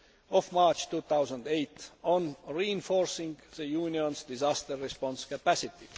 of March 2008 on reinforcing the Union's disaster response capacity.